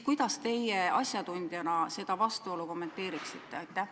Kuidas teie asjatundjana seda vastuolu kommenteeriksite?